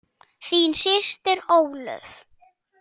Þín systir Ólöf.